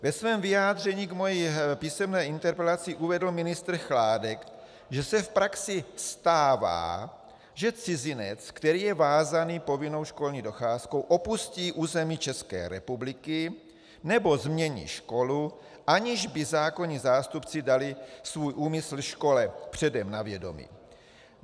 Ve svém vyjádření k mé písemné interpelaci uvedl ministr Chládek, že se v praxi stává, že cizinec, který je vázán povinnou školní docházkou, opustí území České republiky nebo změní školu, aniž by zákonní zástupci dali svůj úmysl škole předem na vědomí.